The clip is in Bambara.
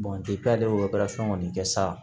kɔni kɛ sa